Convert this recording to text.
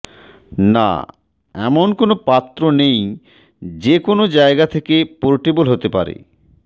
না এমন কোনও পাত্র নেই যে কোনও জায়গা থেকে পোর্টেবল হতে পারে